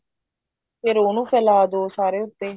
ਫ਼ੇਰ ਉਹਨੂੰ ਫੈਲਾ ਦੋ ਸਾਰੇ ਉੱਤੇ